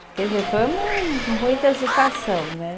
Quer dizer, foi uma muita agitação, né?